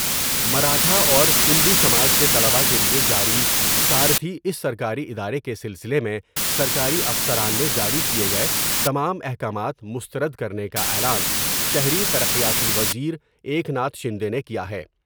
مراٹھا اور کنبے سماج کے طلباء کے لئے جاری سارتھی اس سرکاری ادارے کے سلسلے میں سرکاری افسران نے جاری کئے گئے تمام احکامات مسترد کرنے کا اعلان شہری ترقیاتی و زیرا یکتا تھ شندے نے کیا ہے ۔